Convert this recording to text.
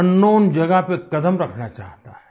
अंकनाउन जगह पर कदम रखना चाहता है